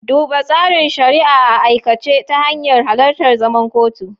Duba tsarin shari'a a aikace ta hanyar halartar zaman kotu.